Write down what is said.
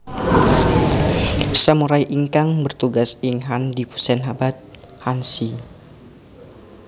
Samurai ingkang bertugas ing han dipunsebat hanshi